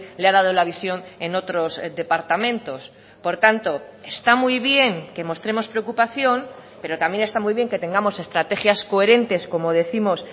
le ha dado la visión en otros departamentos por tanto está muy bien que mostremos preocupación pero también está muy bien que tengamos estrategias coherentes como décimos